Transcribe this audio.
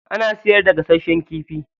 Ana siyarda gasashen kifi.